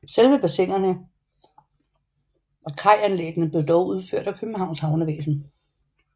Selve bassinerne og kajanlæggene blev dog udført af Københavns Havnevæsen